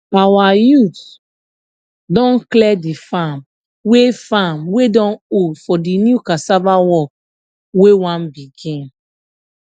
our youth don clear the farm wey farm wey don old for the new cassava work wey won begin